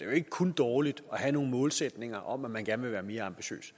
jo ikke kun dårligt at have nogle målsætninger om at man gerne vil være mere ambitiøs